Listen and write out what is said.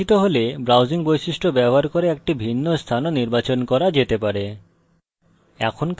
এটি অনির্বাচিত হলে browse বৈশিষ্ট্য ব্যবহার করে একটি ভিন্ন স্থান ও নির্বাচন করা যেতে পারে